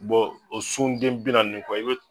Bɔn o sun den bi naani ni kɔ i be